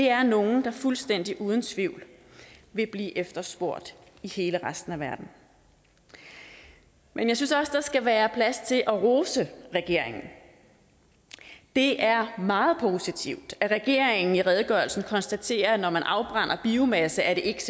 er nogle der fuldstændig uden tvivl vil blive efterspurgt i hele resten af verden men jeg synes også der skal være plads til at rose regeringen det er meget positivt at regeringen i redegørelsen konstaterer at når man afbrænder biomasse er det ikke